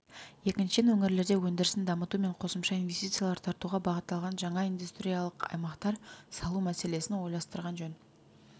екіншіден өңірлерде өндірісін дамыту мен қосымша инвестициялар тартуға бағытталған жаңа индустриялық аймақтар салу мәселесін ойластырған жөн